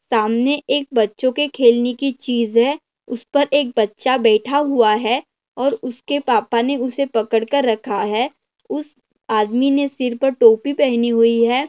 सामने एक बच्चों के खेलने की चीज है उस पर एक बच्चा बैठा हुआ है और उसके पापा ने उसे पकड़ कर रखा है उस आदमी ने सिर पर टोपी पहनी हुई है।